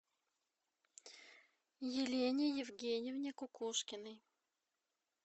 елене евгеньевне кукушкиной